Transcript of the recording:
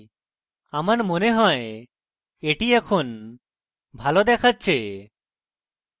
আমার মনে হয় এটি এখন ভালো দেখাচ্ছে